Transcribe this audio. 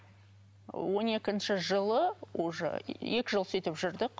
он екінші жылы уже екі жыл сөйтіп жүрдік